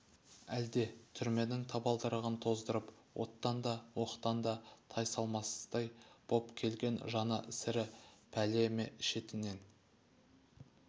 әлде түрменің табалдырығын тоздырып оттан да оқтан да тайсалмастай боп келген жаны сірі пәле ме шетінен